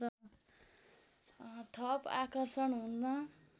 थप आकर्षण हुन्